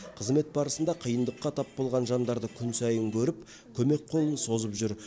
қызмет барысында қиындыққа тап болған жандарды күн сайын көріп көмек қолын созып жүр